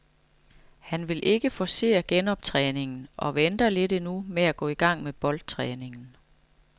Han vil ikke forcere genoptræningen og venter lidt endnu med at gå i gang med boldtræningen.